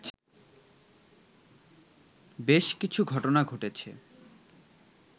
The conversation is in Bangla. বেশ কিছু ঘটনা ঘটেছে